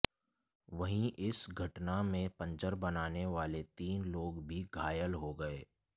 वहीं इस घटना में पंचर बनाने वाले तीन लोग भी घायल हो गए